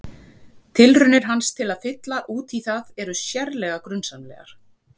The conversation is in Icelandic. Tilraunir hans til að fylla út í það eru sérlega grunsamlegar.